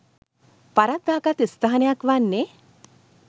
වරද්දාගත් ස්ථානයක් වන්නේ